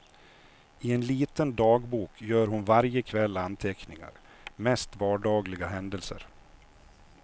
I en liten dagbok gör hon varje kväll anteckningar, mest vardagliga händelser.